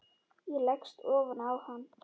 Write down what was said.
Ég leggst ofan á hann.